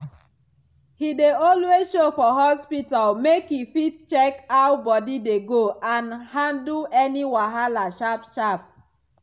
he dey always show for hospital make e fit check how body dey go and handle any wahala sharp sharp.